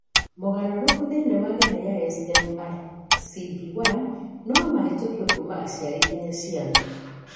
Mogarũrũku thĩinĩ wa gene ya SMARCB1 no mahĩtũkio kuuma aciari nginya ciana.